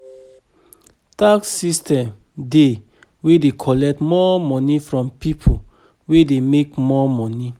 Tax system dey wey dey collect more money from pipo wey dey make more money